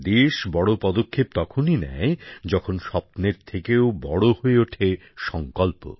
দেশ বড় পদক্ষেপ তখনই নেয় যখন স্বপ্নের থেকেও বড় হয়ে ওঠে সঙ্কল্প